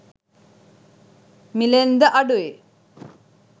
මිළෙන් ද අඩුයි.